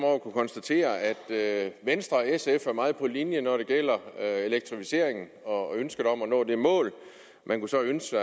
over at kunne konstatere at venstre og sf er meget på linje når det gælder elektrificeringen og ønsket om at nå det mål man kunne så ønske